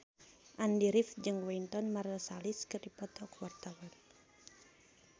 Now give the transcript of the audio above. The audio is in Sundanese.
Andy rif jeung Wynton Marsalis keur dipoto ku wartawan